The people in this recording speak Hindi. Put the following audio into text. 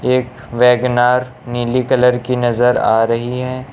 एक वैगनार नीली कलर की नजर आ रही है।